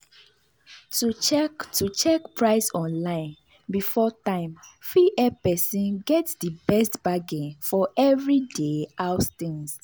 to check to check price online before time fit help person get di best bargain for everyday house things.